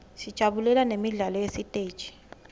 sijabulela nemidlalo yesiteji